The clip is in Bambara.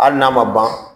Hali n'a ma ban